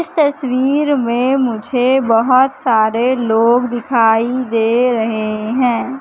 इस तसवीर में मुझे बहोत सारे लोग दिखाई दे रहे है।